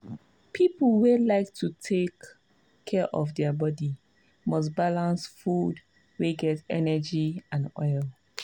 people wey like to take care of their body must balance food wey get energy and oil.